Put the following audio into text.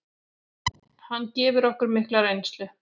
Hann gefur okkur mikla reynslu.